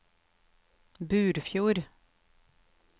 Burfjord